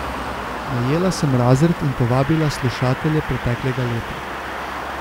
Najela sem razred in povabila slušatelje preteklega leta.